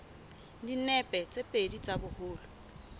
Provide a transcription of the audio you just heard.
dinepe tse pedi tsa boholo